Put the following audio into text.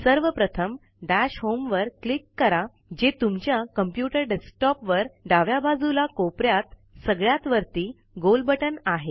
सर्वप्रथम dash home वर click करा जे तुमच्या कॉम्प्युटर डेक्सटोपवर डाव्या बाजूला कोपऱ्यात सगळ्यात वरती गोल बटन आहे